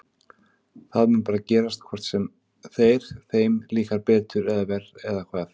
Þetta mun bara gerast hvort sem þeir, þeim líkar betur eða verr eða hvað?